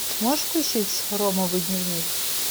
можешь включить ромовый дневник